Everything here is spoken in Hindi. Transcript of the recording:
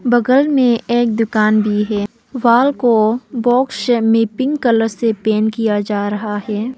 बगल में एक दुकान भी है वॉल को बॉक्स में पिंक कलर से पेंट किया जा रहा है।